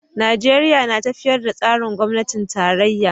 Najeriya na tafiyar da tsarin gwamnatin tarayya.